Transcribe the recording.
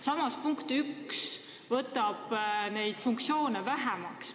" Eelnõu punkt 1 võtabki neid funktsioone vähemaks.